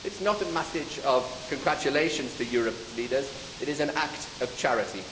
so. It is not a message of congratulations to Europe's leaders, it is an act of charity.